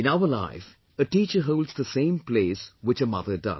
In our life, a teacher holds the same place which a mother does